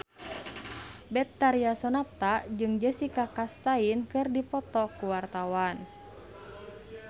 Betharia Sonata jeung Jessica Chastain keur dipoto ku wartawan